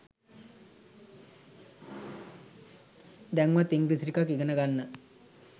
දැන්වත් ඉංග්‍රීසි ටිකක් ඉගෙන ගන්න.